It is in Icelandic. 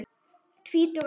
Tvítug að aldri.